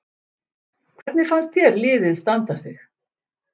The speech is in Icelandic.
Hvernig fannst þér liðið standa sig?